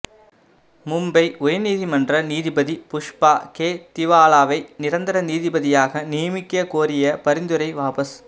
மும்பை உயர்நீதிமன்ற நீதிபதி புஷ்பா கே திவாலாவை நிரந்தர நீதிபதியாக நியமிக்கக் கோரிய பரிந்துரை வாபஸ்